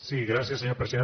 sí gràcies senyor president